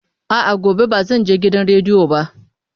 A'a, gobe ba zan je gidan rediyo ba.